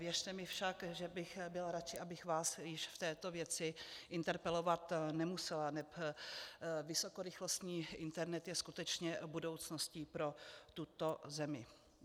Věřte mi však, že bych byla radši, abych vás již v této věci interpelovat nemusela, neb vysokorychlostní internet je skutečně budoucností pro tuto zemi.